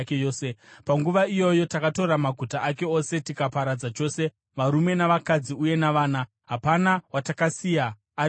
Panguva iyoyo takatora maguta ake ose tikaaparadza chose, varume navakadzi uye navana. Hapana watakasiya ari mupenyu.